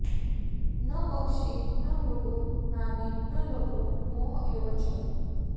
न पक्षी न मृगो नागी न लोभो मोह एव च